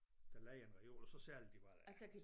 Der lejer en reol og så sælger de hvad der er